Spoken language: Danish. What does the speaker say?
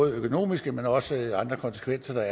økonomiske men også andre konsekvenser